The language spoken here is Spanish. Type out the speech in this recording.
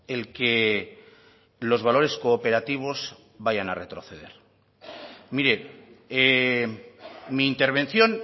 el que los valores cooperativos vayan a retroceder mire mi intervención